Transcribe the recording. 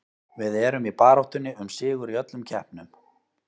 Við erum í baráttunni um sigur í öllum keppnum.